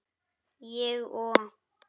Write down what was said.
Ég og